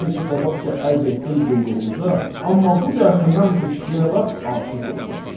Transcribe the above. Necə ki, qabaqca ərz etdim qulluğunuza, amma bu dəfə mən bu kişiyə lap aşiq oldum.